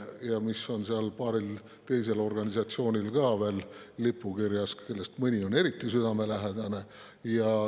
Ja see on paaril teisel organisatsioonil ka lipukirjas, kellest mõni on eriti südamelähedane.